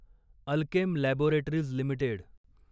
Alkem laboratories limited